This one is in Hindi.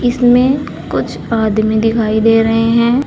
इसमें कुछ आदमी दिखाई दे रहे हैं।